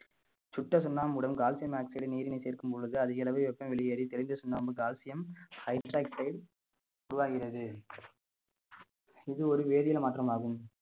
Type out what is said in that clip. சுட்ட சுண்ணாம்புடன் calcium oxide நீரினை சேர்க்கும் பொழுது அதிக அளவு வெப்பம் வெளியேறி தெளிந்த சுண்ணாம்பு calcium hydroxide உருவாகிறது இது ஒரு வேதியியல் மாற்றமாகும்